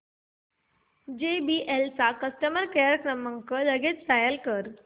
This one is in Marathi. जेबीएल चा कस्टमर केअर क्रमांक लगेच डायल कर